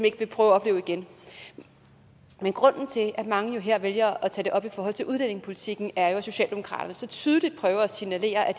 ikke vil prøve at opleve igen men grunden til at mange jo her vælger at tage det op i forhold til udlændingepolitikken er jo at socialdemokratiet så tydeligt prøver at signalere at